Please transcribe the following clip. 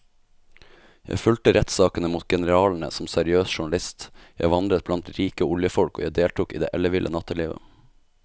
Jeg fulgte rettssakene mot generalene som seriøs journalist, jeg vandret blant rike oljefolk og jeg deltok i det elleville nattelivet.